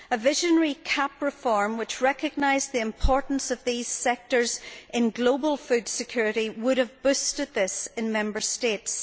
A visionary CAP reform which recognised the importance of these sectors in global food security would have boosted this in Member States.